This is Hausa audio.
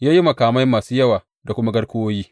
Ya yi makamai masu yawa da kuma garkuwoyi.